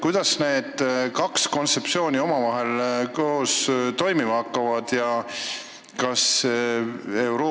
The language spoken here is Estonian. Kuidas need kaks kontseptsiooni omavahel kokku sobima ja koos toimima hakkavad?